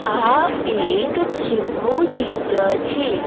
આ એક જીમ નુ ચિત્ર છે.